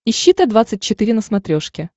ищи т двадцать четыре на смотрешке